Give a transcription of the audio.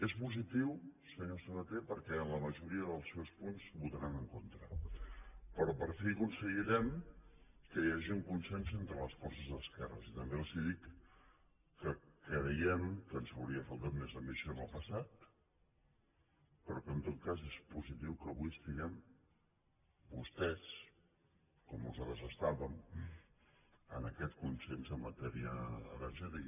és positiu senyor sabaté perquè en la majoria dels seus punts votaran en contra però per fi aconseguirem que hi hagi un consens entre les forces d’esquerres i també els dic que creiem que ens hauria faltat més ambició en el passat però que en tot cas és positiu que avui estiguem vostès com nosaltres estàvem en aquest consens en matèria energètica